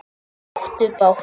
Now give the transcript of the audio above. Þau áttu bágt!